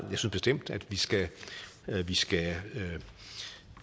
bestemt at vi skal vi skal